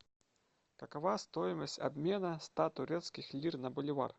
какова стоимость обмена ста турецких лир на боливар